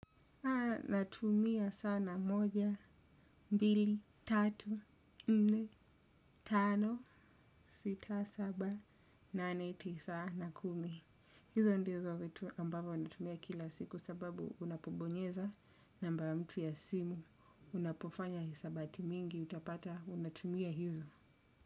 Natumia sana moja, mbili, tatu, nne, tano, sita, saba, nane, tisa, na kumi. Hizo ndizo vitu ambavyo natumia kila siku sababu unapobonyeza namba ya mtu ya simu unapofanya hisabati mingi utapata unatumia hizo.